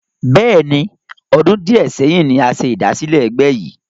Bẹ́ẹ̀ni, ọdún di ẹ sẹ́yìn ni a ṣe ìdásílẹ́ egbe yi